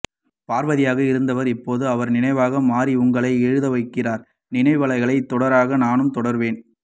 பார்வதியாக இருந்தவர் இப்போது அவர் நினைவாக மாறி உங்களை எழுத வைத்திருக்கிறார் நினைவலைகள் தொடர நானும் தொடர்வேன்